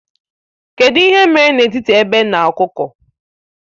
Kedụ ihe mere n'etiti egbe na ọkụkọ?